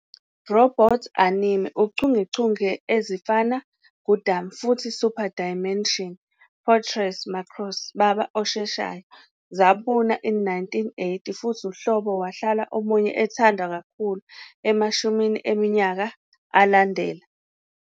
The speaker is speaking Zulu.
Robot anime uchungechunge ezifana "Gundam" futhi "Super Dimension Fortress Macross" baba osheshayo zabuna in the 1980, futhi uhlobo wahlala omunye ethandwa kakhulu Emashumini eminyaka alandela.